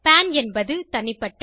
பான் என்பது தனிப்பட்ட